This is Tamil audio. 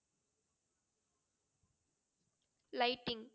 Lighting